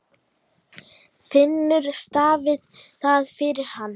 Finnur stafaði það fyrir hann.